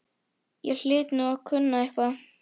Ég hlyti nú að kunna eitthvað.